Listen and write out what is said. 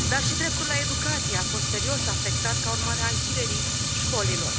Dar și dreptul la educație a fost serios afectat ca urmare a închiderii școlilor.